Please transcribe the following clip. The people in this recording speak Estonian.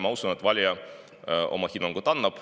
Ma usun, et valija annab oma hinnangu.